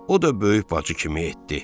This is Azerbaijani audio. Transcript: O da böyük bacı kimi etdi.